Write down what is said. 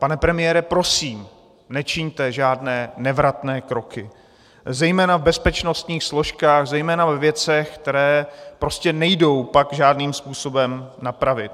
Pane premiére, prosím, nečiňte žádné nevratné kroky, zejména v bezpečnostních složkách, zejména ve věcech, které prostě nejdou pak žádným způsobem napravit.